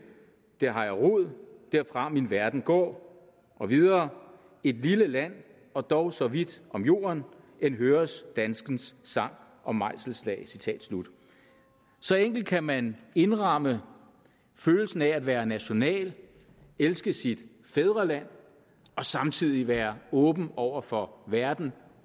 der har jeg rod derfra min verden går og videre et lille land og dog så vidt om jorden end høres danskens sang og mejselslag så enkelt kan man indramme følelsen af at være national elske sit fædreland og samtidig være åben over for verden